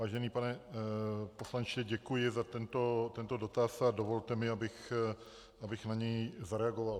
Vážený pane poslanče, děkuji za tento dotaz a dovolte mi, abych na něj zareagoval.